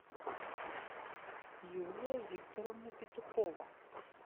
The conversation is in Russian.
юлия викторовна петухова